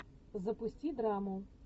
запусти драму